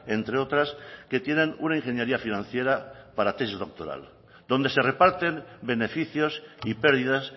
entre otras que tienen una ingeniería financiera para tesis doctoral donde se reparten beneficios y pérdidas